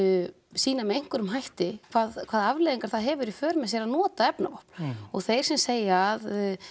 sýna með einhverjum hætti hvaða afleiðingar það hefur í för með sér að nota efnavopn og þeir sem segja að